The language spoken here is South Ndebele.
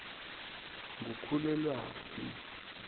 ngukhulelwaphi